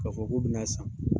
K'a fɔ k'o bɛ n'a san.